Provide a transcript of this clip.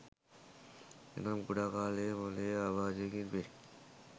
එනම් කුඩා කාලයේ මොළයේ අබාධයකින් පෙලී